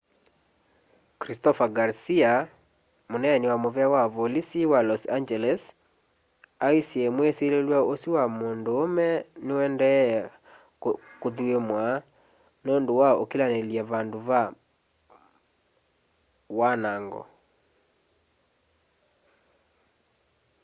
christopher garcia muneeni wa muvea wa volisi wa los angeles aisye mwisililw'a usu wa munduume niuendee kuthuimwa nundu wa ukilanilya vandu va wanango